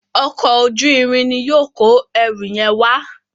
Ọkọ̀ ojú-irin ní yóò kọ ẹrù yen wá.